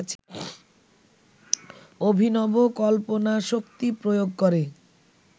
অভিনব কল্পনাশক্তি প্রয়োগ করে